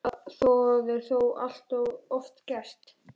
Það er þó allt of oft gert.